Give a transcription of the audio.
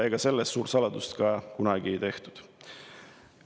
Ega sellest suurt saladust ka kunagi ei ole tehtud.